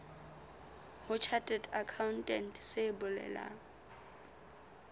ho chartered accountant se bolelang